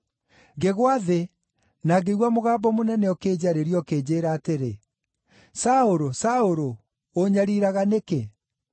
Ngĩgwa thĩ, na ngĩigua mũgambo mũnene ũkĩnjarĩria, ũkĩnjĩĩra atĩrĩ, ‘Saũlũ! Saũlũ! Ũũnyariiraga nĩkĩ?’